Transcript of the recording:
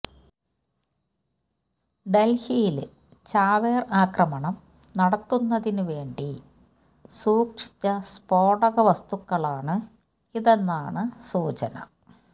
ഡല്ഹിയില് ചാവേര് ആക്രമണം നടത്തുന്നതിന് വേണ്ടി സൂക്ഷിച്ച സ്ഫോടക വസ്തുക്കളാണ് ഇതെന്നാണ് സൂചന